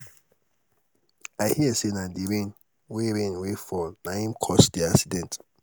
i hear say na the rain wey rain wey fall na im cause the accident.